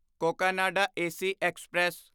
Cocanada AC express